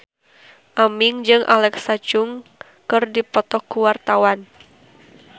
Aming jeung Alexa Chung keur dipoto ku wartawan